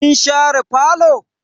Kin share falo?